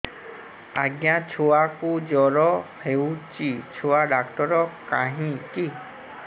ଆଜ୍ଞା ଛୁଆକୁ ଜର ହେଇଚି ଛୁଆ ଡାକ୍ତର କାହିଁ କି